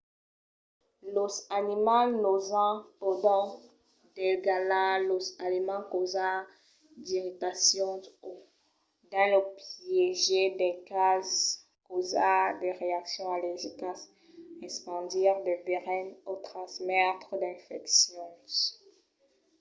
los animals nosents pòdon degalhar los aliments causar d'irritacions o dins lo piéger dels cases causar de reaccions allergicas espandir de veren o transmetre d'infeccions